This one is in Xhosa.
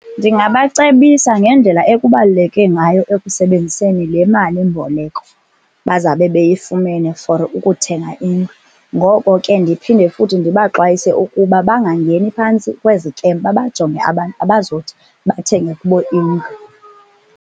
Ndingabacebisa ngendlela ekubaluleke ngayo ekusebenziseni le malimboleko bazawube beyifumene for ukuthenga indlu. Ngoko ke ndiphinde futhi ndibaxwayise ukuba bangangeni phantsi kwezikem, babajonge abantu abazothi bathenge kubo indlu.